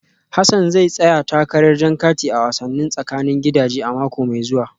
Hassan zai tsaya takarar jan kati a wasannin tsakanin gidaje a mako mai zuwa